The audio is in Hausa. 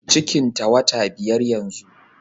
Cikin ta wata biyar yanzu